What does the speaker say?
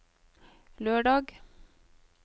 lørdag